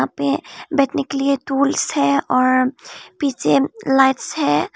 पे बैठने के लिए स्टूल्स है और पीछे लाइट्स है।